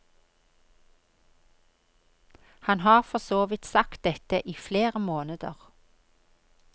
Han har for så vidt sagt dette i flere måneder.